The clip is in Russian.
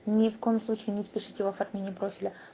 ни в коем случае не спешите в оформлении профиля